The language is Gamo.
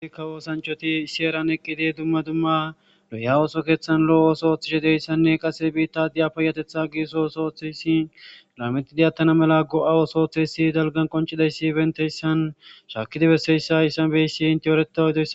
Hayiswoosanchoti sheeran eqqidi dumma dumma lo'ya ooso keeththan lo'oooso ooththishe deyssanne qase biittadiya payatetha giisos ooththeyssi laametidiyatana mela go'a osooththeyssi dalgan qoncidayssi benteyssan shaakidi besseyssa iyssan beyssi inte eretadosa